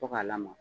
Fo k'a lamaa